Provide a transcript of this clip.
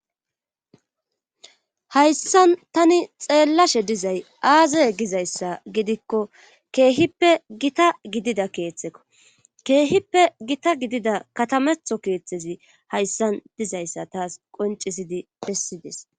Hayssan tani xeellashe dizay aazaye gizayssa gidikko keehippe gita gidida keeththekko keehippe gita gidida katametho keeththezi hayssan dizayssa taas qoncisidi pessides